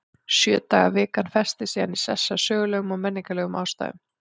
Sjö daga vikan festist síðan í sessi af sögulegum og menningarlegum ástæðum.